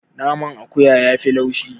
Naman akuya yafi laushi.